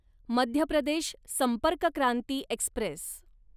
Madhya Pradesh Sampark Kranti Express